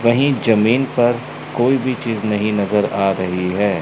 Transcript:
वहीं जमीन पर कोई भी चीज नहीं नजर आ रही है।